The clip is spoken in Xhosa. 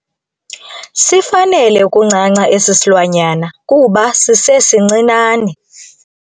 Sifanele ukuncanca esi silwanyana kuba sisesincinane.